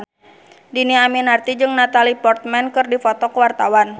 Dhini Aminarti jeung Natalie Portman keur dipoto ku wartawan